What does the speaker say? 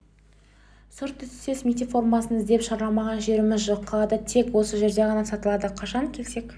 сұр түстес мектеп формасын іздеп шарламаған жеріміз жоқ қалада тек осы жерде ғана сатылады қашан келсек